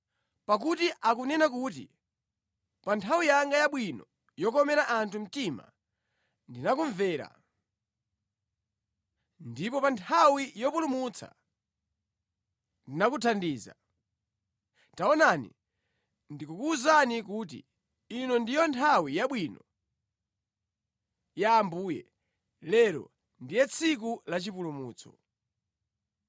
Pakuti akunena kuti, “Pa nthawi yanga yabwino yokomera anthu mtima ndinakumvera, ndipo pa nthawi yopulumutsa ndinakuthandiza. Taonani, ndikukuwuzani kuti, ino ndiyo nthawi yabwino ya Ambuye, lero ndiye tsiku la chipulumutso.”